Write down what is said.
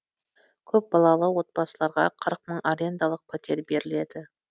көпбалалы отбасыларға қырық мың арендалық пәтер беріледі